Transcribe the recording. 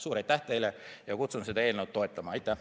Suur aitäh teile ja kutsun seda eelnõu toetama!